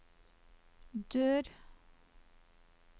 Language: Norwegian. dør